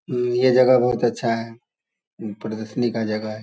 उम्म ये जगह बहुत अच्छा है उम प्रदशनी का जगह है।